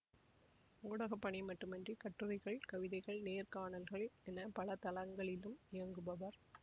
ஊடகப்பணி மட்டுமின்றி கட்டுரைகள் கவிதைகள் நேர்காணல்கள் என பல தளங்களிலும் இயங்குபவர்